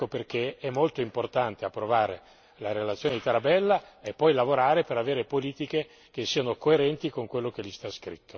Ecco perché è molto importante approvare la relazione del collega Tarabella e poi lavorare per attuare politiche che siano coerenti con il suo